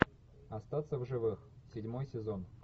остаться в живых седьмой сезон